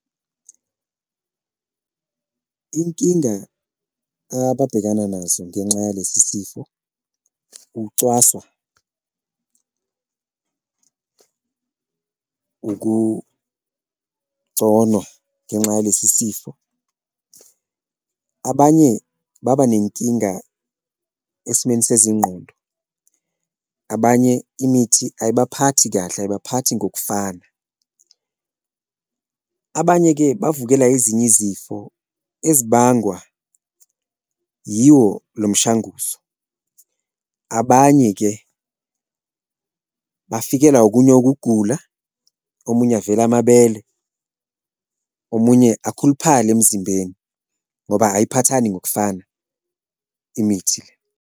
Inkinga ababhekana nazo ngenxa yalesi sifo ukucwaswa, ukugconwa ngenxa yalesi sifo, abanye babanenkinga esimeni sezingqondo, abanye imithi ayibaphathi kahle, abayibaphathi ngokufana. Abanye-ke bavukela ezinye izifo ezibangwa yiwo lo mshanguzo, abanye-ke bafikelwa okunye ukugula, omunye avele amabele, omunye akhuluphale emzimbeni ngoba ayiphathani ngokufana imithi le.